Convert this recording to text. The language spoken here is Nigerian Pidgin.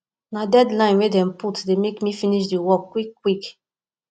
na deadline wey dem put dey help me finish di work quick quick